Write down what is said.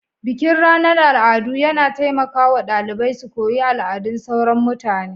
bikin ranar al'adu yana taimaka wa ɗalibai su koyi al'adun sauran mutane